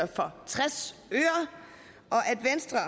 for tres